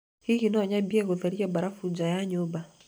Hihi no nyambĩrĩrie gwĩtheria mbarabu nja ya nyũmba?